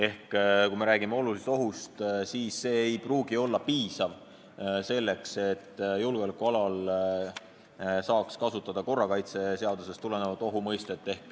Ehk kui me räägime olulisest ohust, siis see ei pruugi olla piisav, selleks et julgeolekualal saaks kasutada korrakaitseseadusest tulenevat ohu mõistet.